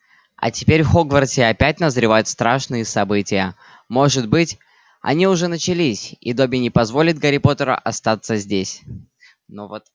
а теперь в хогвартсе опять назревают страшные события может быть они уже начались и добби не позволит гарри поттеру остаться здесь но вот